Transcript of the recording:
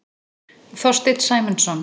Þorsteinn Sæmundsson.